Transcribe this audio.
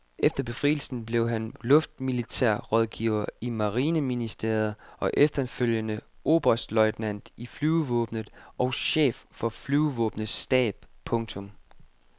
Efter befrielsen blev han luftmilitær rådgiver i marineministeriet og efterfølgende oberstløjtnant i flyvevåbnet og chef for flyvevåbnets stab. punktum